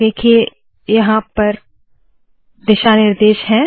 देखिए यहाँ दिशा निर्देश है